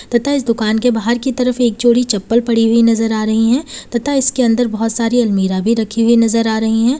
तथा इस दुकान के बाहर की तरफ एक जोड़ी चप्पल पड़ी हुई नजर आ रही हैं तथा इसके अंदर बोहोत सारी अलमीरा भी रखी हुई नजर आ रही हैं।